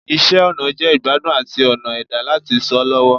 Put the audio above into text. Iṣẹ ọna jẹ igbadun ati ọna ẹda lati sọ lọwọ